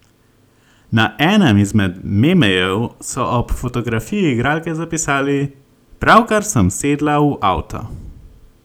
Na enem izmed 'memejev' so ob fotografiji igralke zapisali: "Pravkar sem sedla v avto.